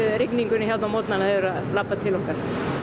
rigningunni hérna á morgnana eru að labba til okkar